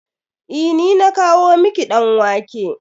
Eh, ni na kawo miki ɗan wake.